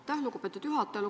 Aitäh, lugupeetud juhataja!